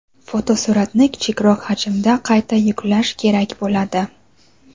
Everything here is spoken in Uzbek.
fotosuratni kichikroq hajmda qayta yuklash kerak bo‘ladi.